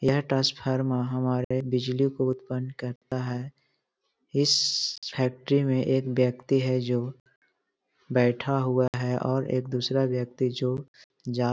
यह ट्रांसफार्मर हमारे बिजली को उत्पन्न करता है इस फैक्ट्री में एक व्यक्ति है जो बैठा हुआ है और एक दूसरा व्यक्ति जो जा --